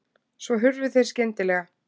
Svo hurfu þeir skyndilega.